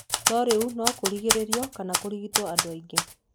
No rĩu no kũrigĩrĩrio kana kũrigitwo andũ aingĩ.